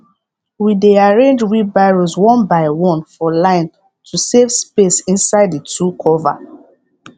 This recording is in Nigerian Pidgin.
we dey arrange wheelbarrows one by one for line to save space inside the tool cover